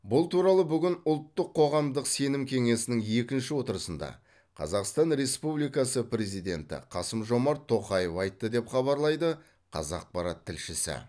бұл туралы бүгін ұлттық қоғамдық сенім кеңесінің екінші отырысында қазақстан республикасы президенті қасым жомарт тоқаев айтты деп хабарлайды қазақпарат тілшісі